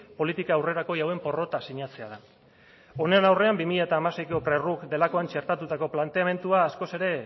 politika aurrerakoi hauen porrota sinatzea da honen aurrean bi mila hamaseiko prug delakoan txertatutako planteamendua askoz ere